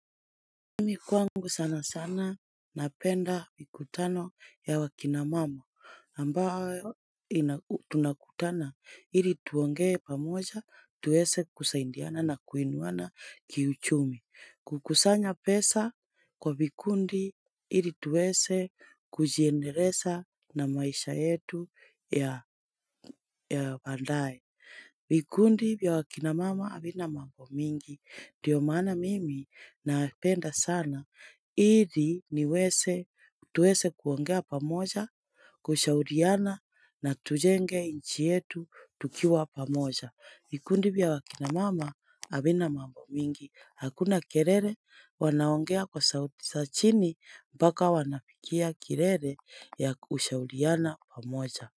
Mimi kwangu sana sana napenda mkutano ya wa kina mama ambayo tunakutana ili tuongee pamoja tuweze kusaidiana na kuinuana kiuchumi. Kukusanya pesa kwa vikundi ili tuweze kujiendelesha na maisha yetu ya baadaye. Vikundi vya wa kina mama havina mambo mingi. Ndiyo maana mimi napenda sana. Ili tuweze kuongea pamoja, kushauriana na tujenge nchi yetu tukiwa pamoja. Mikundi bia wakinamama habina mambo mingi. Hakuna kelele wanaongea kwa sauti za chini mpaka wanafikia kilele ya kushauriana pamoja.